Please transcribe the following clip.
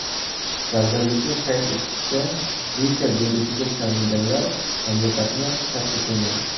Vazirlikning qayd etishicha, Zika virusiga chalinganlar mamlakatni tark etmagan.